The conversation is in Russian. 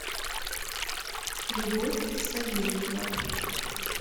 любовь савельева